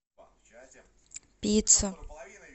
пицца